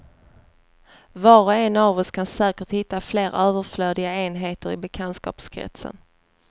Var och en av oss kan säkert hitta fler överflödiga enheter i bekantskapskretsen.